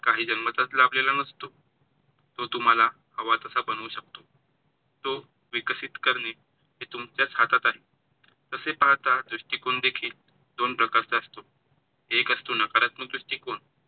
काही जन्मताच लाभलेला नसतो. तो तुम्हाला हवा तसा बनवू शकतो. तो विकसित करणे हे तुमच्याच हातात आहे. तसे पाहता दृष्टिकोन देखील दोन प्रकारचा असतो. एक असतो नकारात्मक दृष्टीकोण